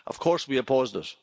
Of course we opposed it.